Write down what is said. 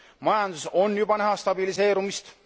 Majanduses on juba näha stabiliseerumist.